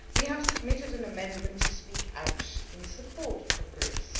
We have submitted an amendment to speak out in support of Greece.